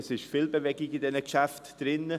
Es gibt viel Bewegung bei diesen Geschäften.